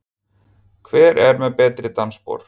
Hver er með betri dansspor?